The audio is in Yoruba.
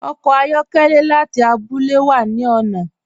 Ọkọ ayọkẹlẹ láti àbúlẹ̀ wà ni ọ̀nà.